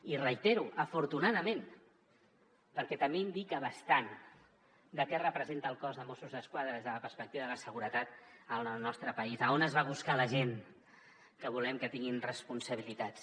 i ho reitero afortunadament perquè també indica bastant què representa el cos de mossos d’esquadra des de la perspectiva de la seguretat al nostre país a on es va buscar la gent que volem que tinguin responsabilitats